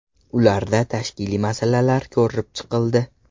Ularda tashkiliy masalalar ko‘rib chiqildi.